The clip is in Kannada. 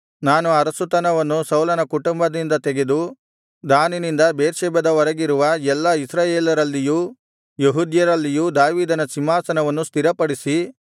ನಾನು ಅರಸುತನವನ್ನು ಸೌಲನ ಕುಟುಂಬದಿಂದ ತೆಗೆದು ದಾನಿನಿಂದ ಬೇರ್ಷೆಬದ ವರೆಗಿರುವ ಎಲ್ಲಾ ಇಸ್ರಾಯೇಲರಲ್ಲಿಯೂ ಯೆಹೂದ್ಯರಲ್ಲಿಯೂ ದಾವೀದನ ಸಿಂಹಾಸನವನ್ನು ಸ್ಥಿರಪಡಿಸಿ